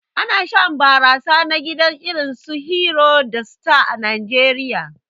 Ana shan barasa na gida irinsu "Hero" da "Star" a Najeriya.